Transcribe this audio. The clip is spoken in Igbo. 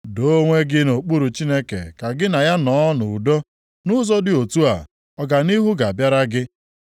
“Doo onwe gị nʼokpuru Chineke ka gị na ya nọọ nʼudo, nʼụzọ dị otu a, ọganihu ga-abịara gị.